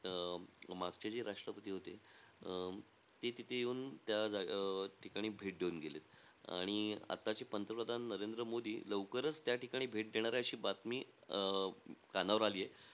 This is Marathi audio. अं मागचे जे राष्टपती होते अं ते तिथे येऊन त्या अं जागे ठिकाणी भेट देऊन गेलेत. आणि आताचे पंतप्रधान नरेंद्र मोदी लवकरचं त्या ठिकाणी भेट देणारे, अशी बातमी अं कानावर आलीयं.